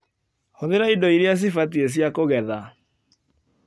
Hũthĩra ĩndo iria cibatie cia kũgetha.